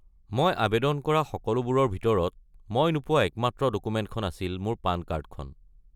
মই আৱেদন কৰা সকলোবোৰৰ ভিতৰত, মই নোপোৱা একমাত্ৰ ডকুমেণ্টখন আছিল মোৰ পান কাৰ্ডখন।